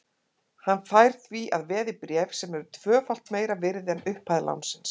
Hann fær því að veði bréf sem eru tvöfalt meira virði en upphæð lánsins.